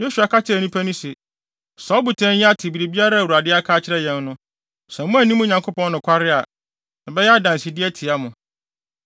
Yosua ka kyerɛɛ nnipa no se, “Saa ɔbotan yi ate biribiara a Awurade aka akyerɛ yɛn no. Sɛ moanni mo Nyankopɔn nokware a, ɛbɛyɛ adansede atia mo.”